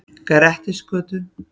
Grettisgötu